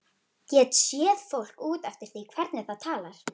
Get séð fólk út eftir því hvernig það talar.